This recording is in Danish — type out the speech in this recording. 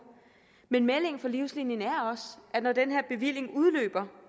men meldingen fra livslinien er også at når den her bevilling udløber